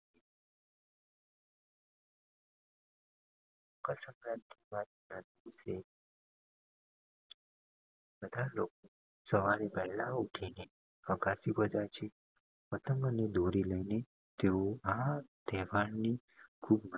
સવારે વહેલા ઊઠીને અગાસી પર જય છે પતંગ અને દોરી લાયી ને આ તહેવાર ની